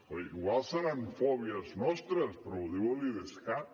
igual deuen ser fòbies nostres però ho diu l’idescat